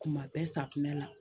Kuma bɛɛ safunɛ la